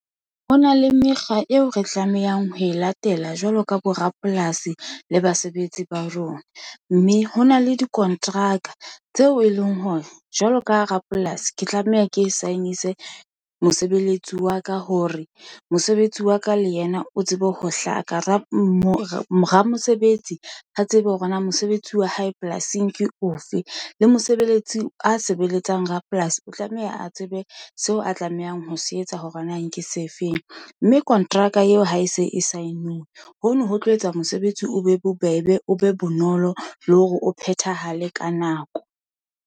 Ho na le mekga eo re tlamehang ho e latela jwalo ka bo rapolasi le basebetsi ba rona. Mme ho na le dikonteraka tseo e leng hore jwalo ka rapolasi ke tlameha ke sign-ise mosebeletsi wa ka hore mosebetsi wa ka le yena o tsebe ho hlaka. Ramosebetsi a tsebe hore na mosebetsi wa hae polasing ke o fe? Le mosebeletsi a sebeletsang rapolasi o tlameha a tsebe seo a tlamehang ho se etsa hore na nke se feng? Mme konteraka eo ha e se e sign-unwe, hono ho tlo etsa mosebetsi o be bobebe, o be bonolo le hore o phethahale ka nako.